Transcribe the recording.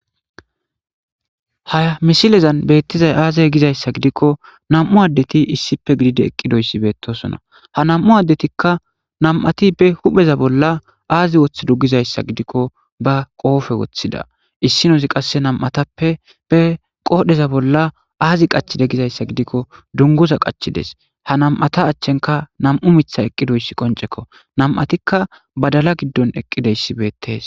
Haa misilezan beettizay aazey gizayssa gidikko nam7u addeti issipe gidide eqqidoyssi beettosona ha nam7u addetikka nam7ati be hupheza bolla aazi woththi dugizayssa gidikko ba qoofe woththida issi nosi qasse nam7atappe be qoodheza bolla aazi qachide gizayssa gidikko dunguza qachides ha nam7ata achchenka nam7u mitha eqqidoyssi qoncekko namatikka badala giddon eqqideyssi beettees.